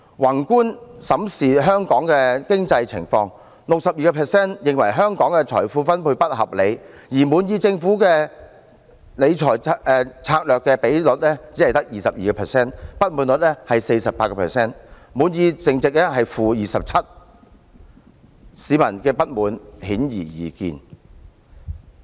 宏觀審視香港的經濟情況，有 62% 人認為香港財富分配不合理，而滿意政府理財策略的人只有 22%， 不滿意比率是 48%， 滿意淨值是 -27%， 市民的不滿顯而易見。